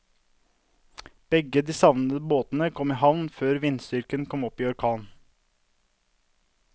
Begge de savnede båtene kom i havn før vindstyrken kom opp i orkan.